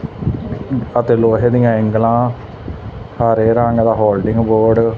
ਅਤੇ ਲੋਹੇ ਦਿਆਂ ਐਂਗਲਾਂ ਹਰੇ ਰੰਗ ਦਾ ਹੋਰਡਿੰਗ ਬੋਰਡ --